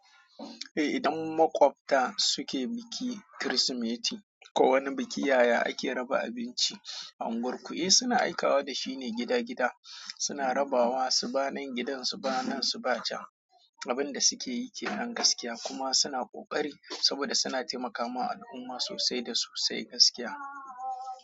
Eh, idan makwabta suke biki, Kirsimeti ko wani biki, yaya ake raba abinci a unguwar ku? Eh suna aikawa da shi ne gida gida, suna rabawa su banen gidansu, banen su bacha. Abin da suke yi ke nan gaskiya kuma suna ƙoƙari saboda suna taimakawa al'umma sosai da sosai gaskiya.